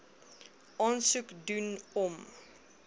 aansoek doen om